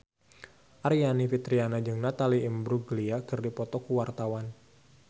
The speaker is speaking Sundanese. Aryani Fitriana jeung Natalie Imbruglia keur dipoto ku wartawan